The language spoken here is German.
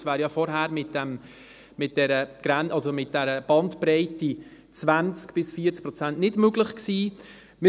Dies wäre ja vorher mit der Bandbreite von 20– 40 Prozent nicht möglich gewesen.